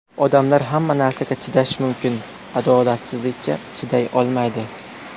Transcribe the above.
Odamlar hamma narsaga chidashi mumkin, adolatsizlikka chiday olmaydi.